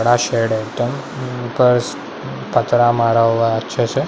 बड़ा शेड है टंग उ पस पछरा मारा य छे से ---